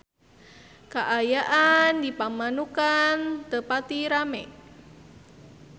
Kaayaan di Pamanukan teu pati rame